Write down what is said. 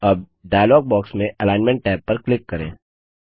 अब dialog box में alignment tab पर क्लिक करें